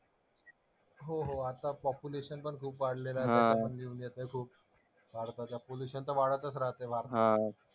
हो हो आता पॉप्युलेशनपण खूप वाढलेलं आहे. त्याच्यावर पण लिहून येतंय खूप. भारतातलं पोल्युशन तर वाढतंच राहतंय भारतात